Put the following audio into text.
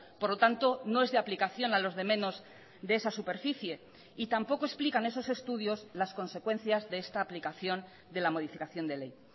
por lo tanto no es de aplicación a los de menos de esa superficie y tampoco explican esos estudios las consecuencias de esta aplicación de la modificación de ley